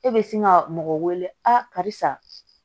E bɛ sin ka mɔgɔ wele karisa